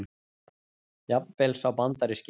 Jafnvel sá bandaríski.